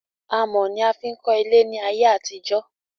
Amò ni a fi n kọ́ ilé ní ayé àtijó